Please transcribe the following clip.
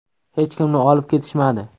Hech kimni olib ketishmadi.